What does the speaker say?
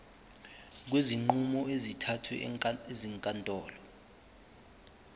kwezinqumo ezithathwe ezinkantolo